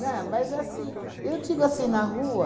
mas assim, eu digo assim, na rua...